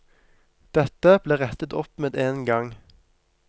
Dette ble rettet opp med en gang.